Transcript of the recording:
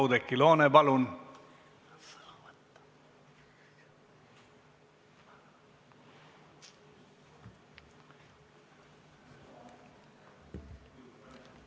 Oudekki Loone, palun!